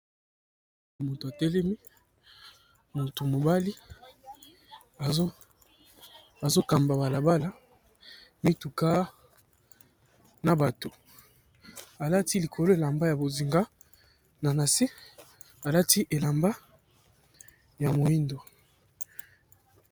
Moto atelemi, moto mobali, azokamba bala bala mituka na bato alati likolo elamba ya bozinga na nase alati elamba ya moindo.